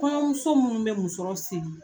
Kɔɲɔmuso munnu be musɔrɔ siri